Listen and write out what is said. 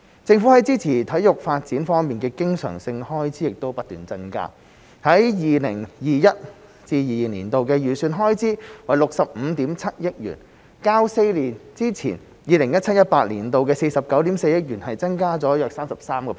政府在支持體育發展方面的經常性開支亦不斷增加 ，2021-2022 年度的預算開支為65億 7,000 萬元，較4年之前、2017-2018 年度的49億 4,000 萬元，增加了約 33%。